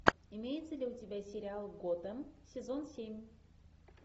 имеется ли у тебя сериал готэм сезон семь